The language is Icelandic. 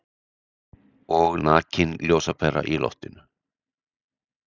Og nakin ljósapera í loftinu.